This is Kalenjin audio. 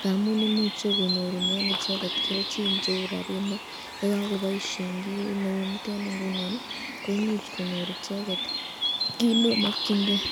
ngamun imuche konyorunen icheket kelchin cheu rabinik ii, yakakobaisyen kit neu niteni koimuch konyor icheket kit nemakyinken.